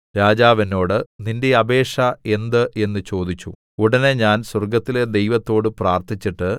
രാജാവ് എന്നോട് നിന്റെ അപേക്ഷ എന്ത് എന്ന് ചോദിച്ചു ഉടനെ ഞാൻ സ്വർഗ്ഗത്തിലെ ദൈവത്തോട് പ്രാർത്ഥിച്ചിട്ട്